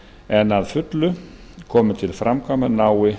en að fullu komið til framkvæmda nái